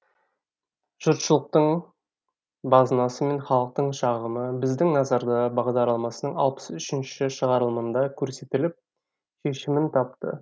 жұртшылықтың базынасы мен халықтың шағымы біздің назарда бағдарламасының алпыс үшінші шығарылымында көрсетіліп шешімін тапты